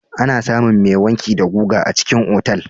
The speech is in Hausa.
Ana samun mai wanki da guga a cikin otal.